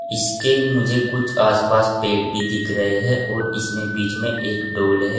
इसके मुझे कुछ आस पास पेड़ भी दिख रहे हैं और इसमें बीच में एक डोल है।